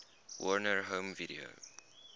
warner home video